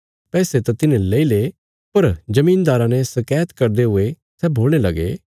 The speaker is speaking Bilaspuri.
पैसे त तिन्हें लेईले पर जमीनदारा ने शकैत करदे हुये सै बोलणे लगे